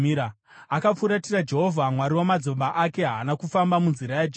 Akafuratira Jehovha, Mwari wamadzibaba ake, haana kufamba munzira yaJehovha.